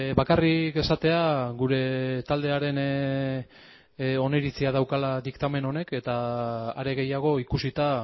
bakarrik esatea gure taldearen oniritzia daukala diktamen honek eta are gehiago ikusita